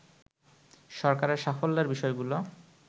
সরকারের সাফল্যের বিষয়গুলো